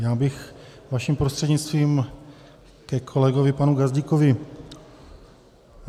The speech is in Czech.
Já bych vaším prostřednictvím ke kolegovi panu Gazdíkovi.